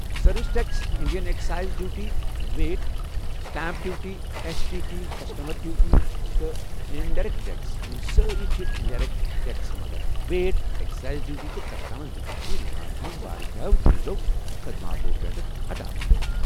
Service tax, Indian excise duty, VAT, stamp duty, S T T, customs duty, تہٕ indirect tax, یم سٲری چھِ indirect tax مگر VAT, excise duty تہٕ customs duty چھِ ہندوستانس منٛز واریاہو چیٖزو تہٕ خدماتو پٮ۪ٹھٕہٕ ہٹاونہٕ آمٕتہِ ۔